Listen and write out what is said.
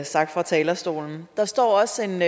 sagt fra talerstolen der står også en